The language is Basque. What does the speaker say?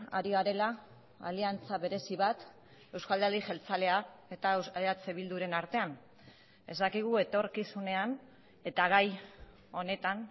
ari garela aliantza berezi bat eusko alderdi jeltzalea eta eh bilduren artean ez dakigu etorkizunean eta gai honetan